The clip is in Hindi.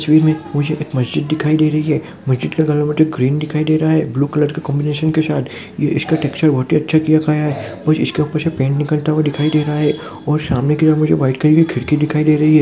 एक्चुअली में मुझे एक मस्जिद दिखाई दे रही है मस्जिद का कलर मुझे ग्रीन दिखाई दे रहा है ब्लू कलर के कॉन्बिनेशन के साथ इसक टेक्सचर बहुत ही अच्छा और इसके ऊपर से पेंट निकलता हुआ दिखाई दे रहा है और सामने की और वाइट कलर की खिड़की दिखाई दे रही है।